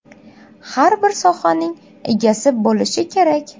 Har bir sohaning egasi bo‘lishi kerak.